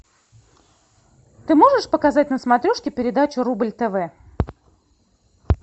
ты можешь показать на смотрешке передачу рубль тв